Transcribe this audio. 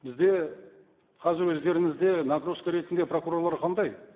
бізде қазір өздеріңізде нагрузка ретінде прокурорлар қандай